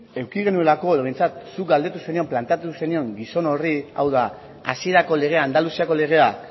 eduki genuelako edo behintzat zuk galdetu zenion planteatu zenion gizon horri hau da hasierako legeak andaluziako legeak